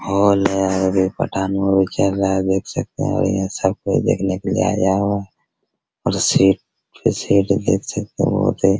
hall है और यहाँ पठान मूवी चल रहा है देख सकते हैं बढ़िया सब कोई देखने के लिए आया हुआ है और सीट सीट देख सकते हैं बहुत ही --